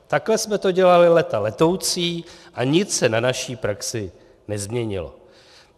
Takhle jsme to dělali léta letoucí a nic se na naší praxi nezměnilo.